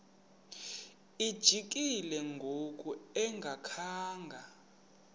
lijikile ngoku engakhanga